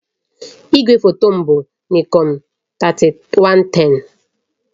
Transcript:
Igwefoto m bụ Nikon 3110